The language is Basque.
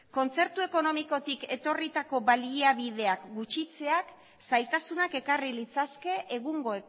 kontzertu ekonomikotik etorritako baliabideak gutxitzeak zailtasunak ekarri litzake egungo